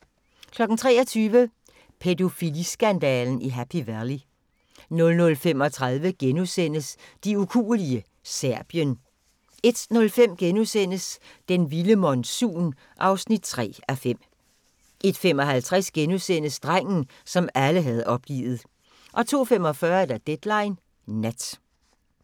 23:00: Pædofiliskandalen i Happy Valley 00:35: De ukuelige – Serbien * 01:05: Den vilde monsun (3:5)* 01:55: Drengen, som alle havde opgivet * 02:45: Deadline Nat